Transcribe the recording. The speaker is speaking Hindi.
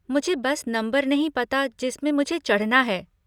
मुझे बस नम्बर नहीं पता जिसमें मुझे चढ़ना है।